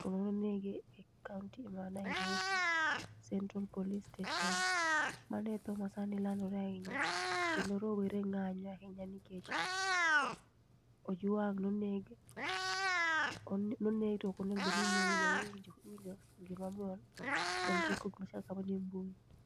to nonege e kaonti ma Nairobi Central Police Station mane sani e thoo ma landore ahinya kendo rowere ng'anyo ahinya nikech oOjwang' ne oneg to oknonego bed ni inege